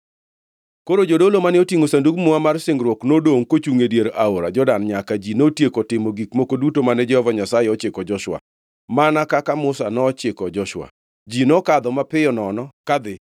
Koro jodolo mane otingʼo Sandug Muma mar singruok nodongʼ kochungʼ e dier aora Jordan nyaka ji notieko timo gik moko duto mane Jehova Nyasaye ochiko Joshua, mana kaka Musa nochiko Joshua. Ji nokadho mapiyo nono kadhi,